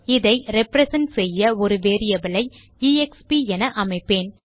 இதை ரிப்ரசன்ட் செய்ய ஒரு வேரியபிளை எக்ஸ்ப் என அமைப்பேன்